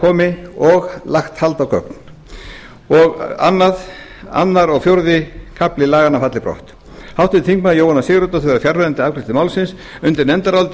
komi og lagt hald á gögn annars til fjórði kafli falli brott háttvirtir þingmenn jóhanna sigurðardóttir var fjarverandi við afgreiðslu málsins undir nefndarálitið